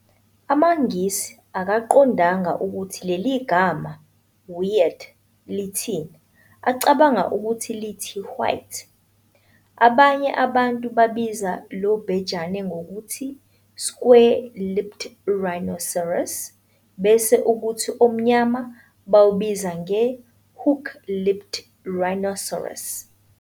AmaNgisi akaqondanga ukuthi leli gama "weid" lithini, acabanga ukuthi lithi "white". Abanye abantu babiza lobhejane ngokuthi "square-lipped rhinoceros" bese ukuthi omnyama bawubize nge"hook-lipped rhinoceros".